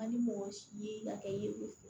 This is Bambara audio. Ani mɔgɔ ye hakɛ ye